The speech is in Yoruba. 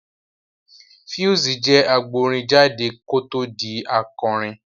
Pheelz jẹ́ agbórin jáde kó tó di akọrin